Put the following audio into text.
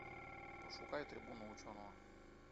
пошукай трибуну ученого